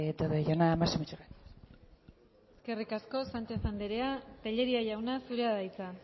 todo ello nada más y muchas gracias eskerrik asko sánchez anderea tellería jauna zurea da hitza